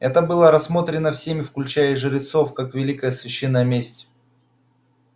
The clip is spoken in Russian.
это было рассмотрено всеми включая и жрецов как великая священная месть